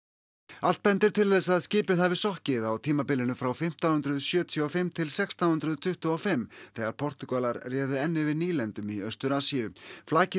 allt bendir til þess að skipið hafi sokkið á tímabilinu frá fimmtán hundruð sjötíu og fimm til sextán hundruð tuttugu og fimm þegar Portúgalar réðu enn yfir nýlendum í Austur Asíu flakið